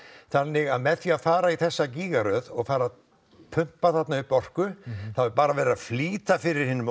þannig að með því að fara í þessa gígaröð og fara að pumpa þarna upp orku þá er bara verið að flýta fyrir hinum